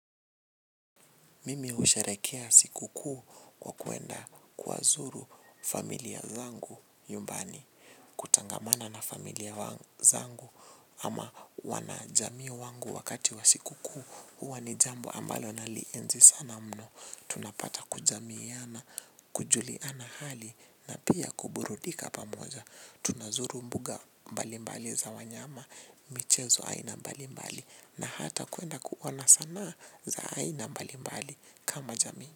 Mimi husherekea siku kuu kwa kuenda kuwazuru familia zangu nyumbani. Kutangamana na familia zangu ama wanajamii wangu wakati wa siku kuu huwa ni jambo ambalo nalienzi sana mno. Tunapata kujamiana, kujuliana hali na pia kuburudika pamoja. Tunazuru mbuga mbalimbali za wanyama, michezo aina mbalimbali. Na hata kuenda kuona sanaa za aina mbalimbali kama jamii.